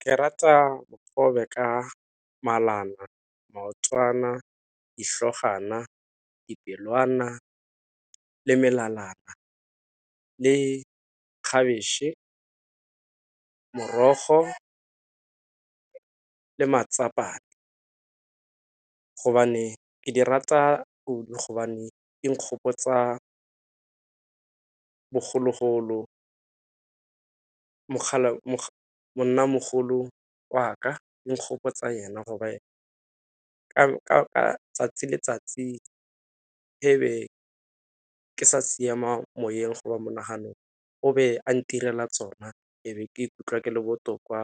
Ke rata dikgobe ka malana, maotwana, ditlhogwana, dipelwana, le melalana, le khabetšhe, morogo, le . Ke di rata kudu gobane e nkgopotsa bogologolo, monnamogolo wa ka e nkgopotsa ena gore ka 'tsatsi le letsatsi e be ke sa siama moyeng go ba monaganong o be a ntirela tsona e be ke ikutlwa ke le botoka